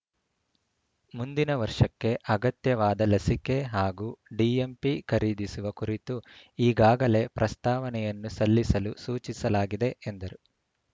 ಮುಂದಿನ ವರ್ಷಕ್ಕೆ ಅಗತ್ಯವಾದ ಲಸಿಕೆ ಹಾಗೂ ಡಿ ಎಂ ಪಿ ಖರೀದಿಸುವ ಕುರಿತು ಈಗಾಗಲೇ ಪ್ರಸ್ತಾವನೆಯನ್ನು ಸಲ್ಲಿಸಲು ಸೂಚಿಸಲಾಗಿದೆ ಎಂದರು